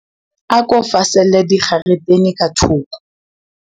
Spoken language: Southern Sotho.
Ako faselle dikgaretene ka thoko.